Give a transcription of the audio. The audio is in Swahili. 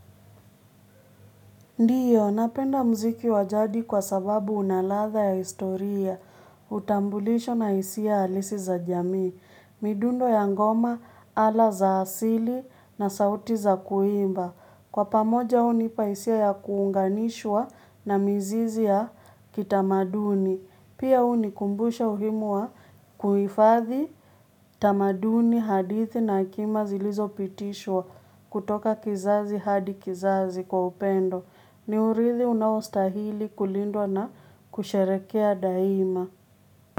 Ndiyo, napenda muziki wa jadi kwa sababu una ladha ya historia, utambulisho na hisia halisi za jamii, midundo ya ngoma ala za asili na sauti za kuimba. Kwa pamoja hunipa hisia ya kuunganishwa na mzizi ya kitamaduni. Pia hunikumbusha umuhimu wa kuhifadhi tamaduni hadithi na akima zilizopitishwa kutoka kizazi hadi kizazi kwa upendo. Ni urithi unaostahili kulindwa na kusharehekea daima.